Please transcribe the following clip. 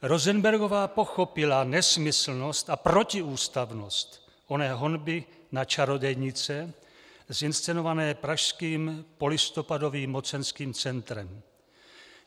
Rosenbergová pochopila nesmyslnost a protiústavnost oné honby na čarodějnice zinscenované pražským polistopadovým mocenským centrem.